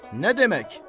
Nə demək?